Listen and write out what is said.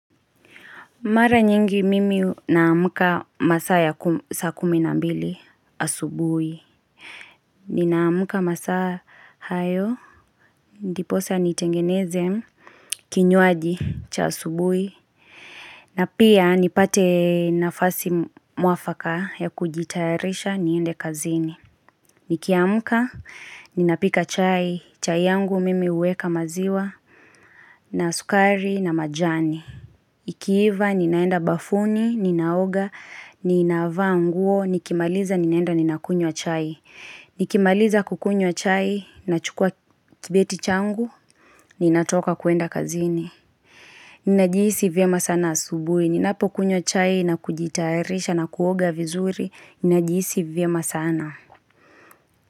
Mara nyingi mimi naamka saa kumi na mbili asubui. Ninaamka masaa hayo diposa nitengeneze, kinywaji cha asubuhi. Na pia nipate nafasi mwafaka ya kujitayarisha niende kazini. Nikiamka, ninapika chai, chai yangu mimi uweka maziwa, na sukari, na majani. Ikiiva ninaenda bafuni, ninaoga, ninaavaa nguo, nikimaliza ninaenda nina kunyo chai Nikimaliza kukunywa chai, nachukua kibeti changu, ninatoka kuenda kazini Ninajiisi vyema sana asubuhi, ninapokunywa chai na kujitaerisha na kuoga vizuri, ninajiisi vima sana.